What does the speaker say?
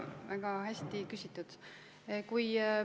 Väga hästi küsitud!